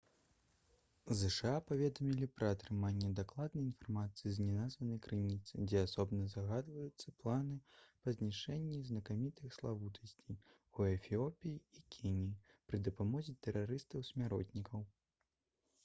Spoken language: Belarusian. зша паведамілі пра атрыманне дакладнай інфармацыі з неназванай крыніцы дзе асобна згадваюцца планы па знішчэнні «знакамітых славутасцей» у эфіопіі і кеніі пры дапамозе тэрарыстаў-смяротнікаў